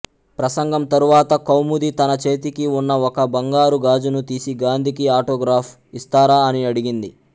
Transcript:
ప్రసంగం తరువాత కౌముది తన చేతికి ఉన్న ఒక బంగరు గాజును తీసి గాంధీకి ఆటోగ్రాఫ్ ఇస్తారా అని అడిగింది